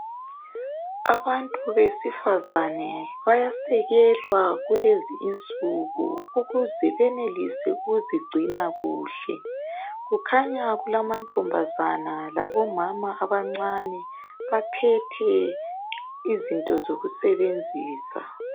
Abantu besifazana bayasekelwa kulezi insuku ukuze benelise ukuzigcina kuhle kukhanya kulama ntombazana labo mama abancane baphethe izinto zokusebenzisa.